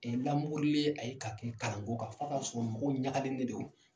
lamokorileen, a ye ka kɛ kalan ko kan f'a ka sɔrɔ mɔgɔ min ɲagalen de don.